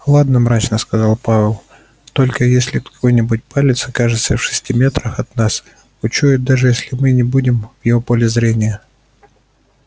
ладно мрачно сказал пауэлл только если какой-нибудь палец окажется в шести метрах он нас учует даже если мы и не будем в его поле зрения